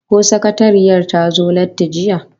Ko sakatariyar ta zo latti jiya?